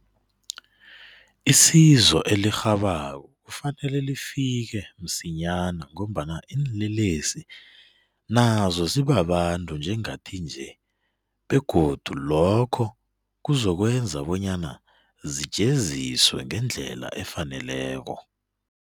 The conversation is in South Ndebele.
Isizo elirhabako kufanele lifike msinyana ngombana iinlelesi nazo zibabantu njengathi nje begodu lokho kuzokwenza bonyana zijeziswe ngendlela efaneleko.